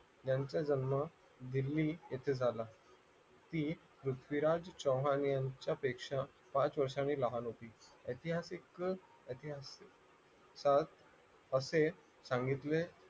यांचा जन्म दिल्ली येथे झाला ती पृथ्वीराज चव्हाण यांच्या पेक्षा पाच वर्षांनी लहान होती ऐतिहासिक असेच सांगितले